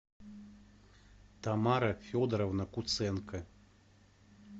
тамара федоровна куценко